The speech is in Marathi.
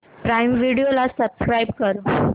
प्राईम व्हिडिओ ला सबस्क्राईब कर